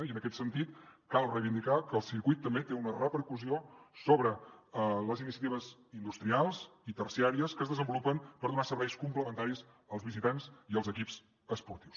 i en aquest sentit cal reivindicar que el circuit també té una repercussió sobre les iniciatives industrials i terciàries que es desenvolupen per donar serveis complementaris als visitants i als equips esportius